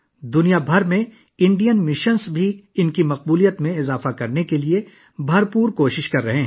دنیا بھر میں بھارتی مشن بھی اپنی مقبولیت بڑھانے کے لیے بہت کوششیں کر رہے ہیں